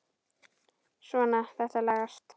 Svona, þetta lagast